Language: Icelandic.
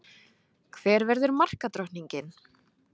Hver verður markadrottning?